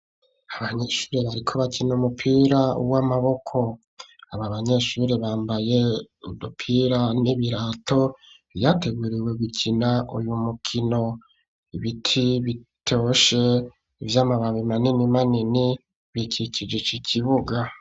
Abanyeshure bariko bakina umupira w'amaboko, aba banyeshure bambaye udupira n'ibirato vyateguriwe gukina uyu mukino, ibiti bitoshe vy'amababi manini manini bikikije kibuga.